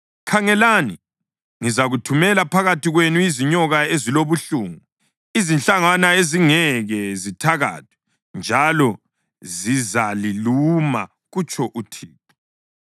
“Khangelani, ngizathumela phakathi kwenu izinyoka ezilobuhlungu, izinhlangwana ezingeke zithakathwe, njalo zizaliluma,” kutsho uThixo.